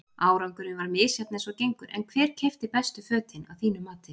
Árangurinn var misjafn eins og gengur en hver keypti bestu fötin að þínu mati?